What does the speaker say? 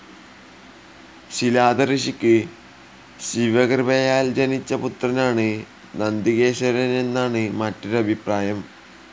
ശിലാദ ഋഷിക്ക് ശിവകൃപയാൽ ജനിച്ച പുത്രനാണ് നന്ദികേശ്വരൻ എന്നാണ് മറ്റൊരഭിപ്രായം.